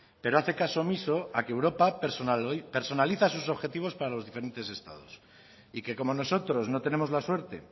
pero hace caso omiso a que europa personaliza sus objetivos para los diferentes estados y que como nosotros no tenemos la suerte